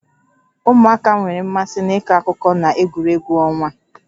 Ụmụaka nwere mmasị n'ịkọ akụkọ na egwuregwu ọnwa